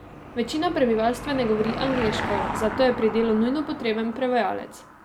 Večina prebivalstva ne govori angleško, zato je pri delu nujno potreben prevajalec.